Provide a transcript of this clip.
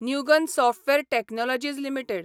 Newgen software technologies limited